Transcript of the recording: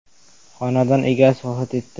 Xonadon egasi vafot etdi.